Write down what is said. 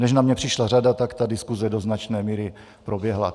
Než na mě přišla řada, tak ta diskuse do značné míry proběhla.